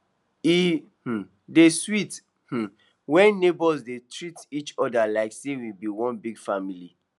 e um dey sweet um when neighbors dey treat each other like say we be one big family